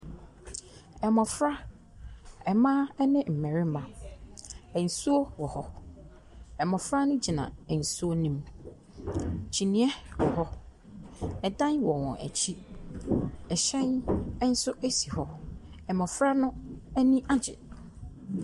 Ɔbaa baako ne barima baako wɔ dan bi mu a abɛɛfo mfidie esi ɛpono bi wɔ wɔn anim. Barima no te akonnwa so. Ɔbaa no gyina ntenten egyina ɛpono no ho.